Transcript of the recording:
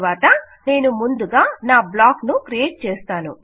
తరువాత నేను ముందుగా నా బ్లాక్ ను క్రియేట్ చేస్తాను